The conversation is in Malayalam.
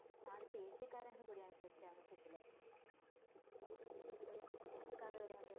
ആദ്യത്തെ ഏഷ്യക്കാരുംകൂടിയാണ് chess championship ലെ ഇതിലെ oscar വരെ അദ്ദേഹം